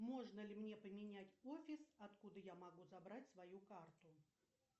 можно ли мне поменять офис откуда я могу забрать свою карту